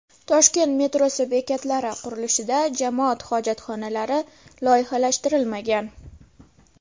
Toshkent metrosi bekatlari qurilishida jamoat hojatxonalari loyihalashtirilmagan.